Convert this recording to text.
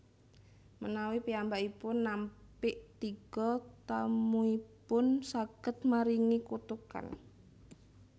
Menawi piyambakipun nampik tiga tamuipun saged maringi kutukan